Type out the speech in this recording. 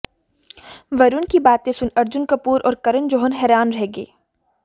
वरुण की बातें सुन अर्जुन कपूर और करण जोहर हैरान रह गए